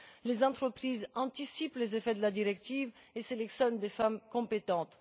Les entreprises anticipent les effets de la directive et sélectionnent des femmes compétentes.